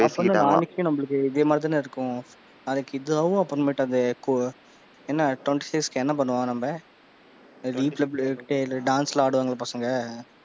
அப்பன்னா? நாளைக்கும் நம்மள்ளக்கு இதே மாறி தான இருக்கும்? நாளைக்கு அப்பறமேட்டு என்ன twenty six க்கு என்ன பண்ணுவோம் நம்ம? வீட்டுல கேளு dance லாம் ஆடுவாங்கல பசங்க,